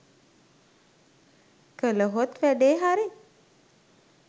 කලහොත් වැඩේ හරි.